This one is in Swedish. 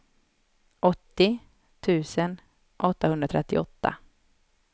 åttio tusen åttahundratrettioåtta